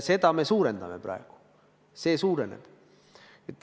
Seda me suurendame praegu, see suureneb.